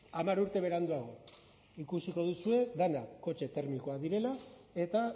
hamar urte beranduago ikusiko duzue dena kotxe termikoak direla eta